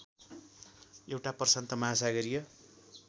एउटा प्रशान्त महासागरीय